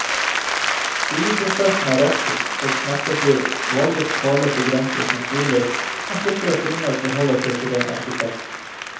Byggeprosessen er rask og smertefri, valgets kvaler begrenses naturlig, man slipper å finne og forholde seg til en arkitekt.